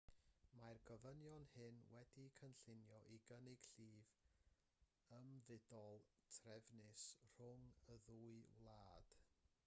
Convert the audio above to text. mae'r gofynion hyn wedi'u cynllunio i gynnig llif ymfudol trefnus rhwng y ddwy wlad